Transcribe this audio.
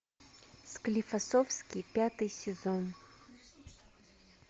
склифосовский пятый сезон